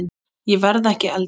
Ég verð ekki eldri.